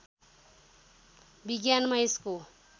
विज्ञानमा यसको